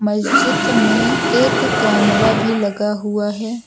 मस्जिद में एक कैमरा भी लगा हुआ है।